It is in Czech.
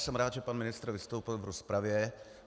Jsem rád, že pan ministr vystoupil v rozpravě.